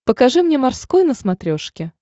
покажи мне морской на смотрешке